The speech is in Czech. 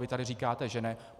Vy tady říkáte, že ne.